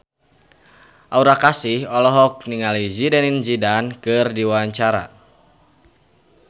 Aura Kasih olohok ningali Zidane Zidane keur diwawancara